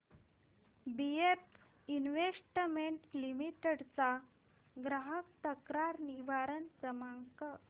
BF investment limited चा ग्राहक तक्रार निवारण क्रमांक